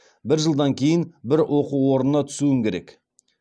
бір жылдан кейін бір оқу орнына түсуім керек